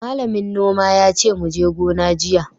Malamin noma yace muje gona jiya!